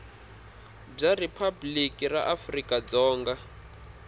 bya riphabliki ra afrika dzonga